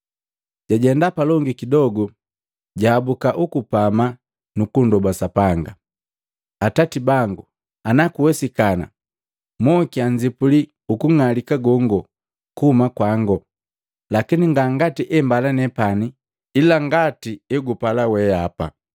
Jajenda palongi kidogu, jahabuka ukupama nukundoba Sapanga, “Atati bangu, ana kuwesikana, mokia nzipuli ukung'alika gongo kuhuma kwango. Lakini nga ngati embala nepani ila ngati egupala weapa.”